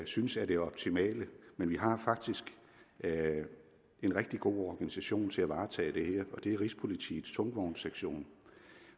synes er det optimale men vi har faktisk en rigtig god organisation til at varetage det her det er rigspolitiets tungvognssektion